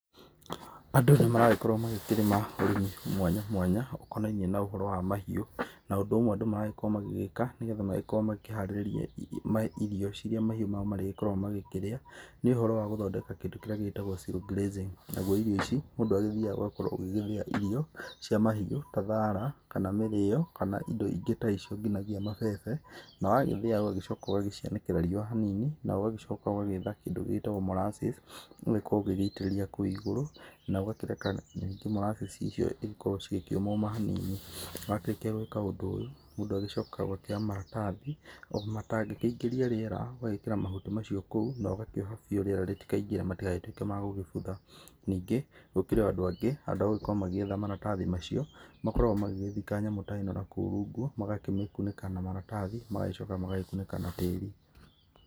Andũ nĩmaragĩkorwo magĩkĩrĩma ũrĩmĩ mwanya mwanya ,ũkonainĩe na ũhoro wa mahiũ, na ũndũ ũmwe andũ maragĩkorwo magĩgĩka, nĩgetha makorwo makĩharĩrĩria irio ciria mahiũ mao marĩkoragwo makĩria, nĩ ũhoro wa gũthondeka kĩndũ kĩrĩa gĩtagwo zero grazing na irio ici mũndũ agĩthiaga , ũgakorwo ũgĩthĩa irio cia mahiũ ta thara, kana mĩrĩo kana indo ingĩ ta icio, nginyagia mabebe na wagĩthĩa, ũgagĩcoka ũgacianĩkĩra riũa hanini, na ũgagĩcoka ũgagĩetha kĩndũ gĩtagwo mollasses ũgagĩkorwo ũgaitĩrĩrĩa kũu igũrũ na ũkareka mollasses cigagĩkorwo cikĩũmoma hanini, warĩkia gwĩka ũndũ ũyũ, mũndũ agĩcĩcokaga gũkĩoya maratathi marĩa matangĩingĩrĩria rĩera, ũgagĩkĩra mahuti macio kũu, na ũgakĩoha biu rĩera rĩtikaingĩre matigagĩtuĩke ma kũbutha, ningĩ gũkĩrĩ andũ handũ ha gũgĩkorwo magĩgĩetha maratathi macio, makoragwo magĩthika nyamũ teyo nakũu rungu, magakĩmakunĩka na maratathi magagĩcoka magakĩmakunĩka na tĩĩri.